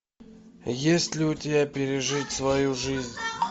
есть ли у тебя пережить свою жизнь